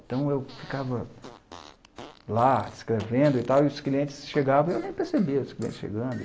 Então, eu ficava lá, escrevendo e tal, e os clientes chegavam, e eu nem percebia os clientes chegando.